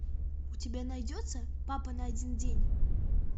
у тебя найдется папа на один день